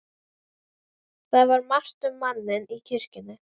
Það var margt um manninn í kirkjunni.